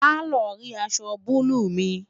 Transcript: talo rí aṣọ bulu mi?